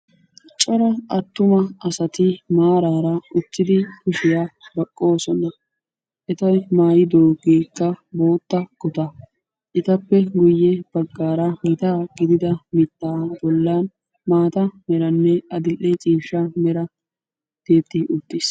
cora attuama asati maarara uttidi kushiya baqoosona. eti maayidoogeekka bootta kutaa. etappe guye bagaara gita gididda mitaa bolan adil'e ciishsha mera dooyi uttiis.